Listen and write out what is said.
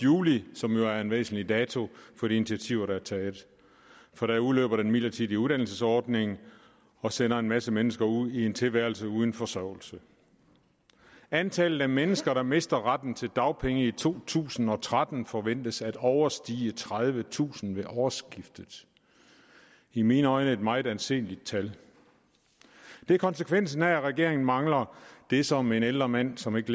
juli som jo er en væsentlig dato for de initiativer der er taget for der udløber den midlertidige uddannelsesordning og sender en masse mennesker ud i en tilværelse uden forsørgelse antallet af mennesker der mister retten til dagpenge i to tusind og tretten forventes at overstige tredivetusind ved årsskiftet i mine øjne et meget anseligt antal det er konsekvensen af at regeringen mangler det som en ældre mand som ikke